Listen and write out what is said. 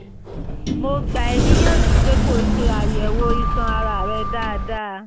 mo gbà ẹ́ níyànjú pé kó ṣe àyẹ̀wò iṣan ara rẹ dáadáa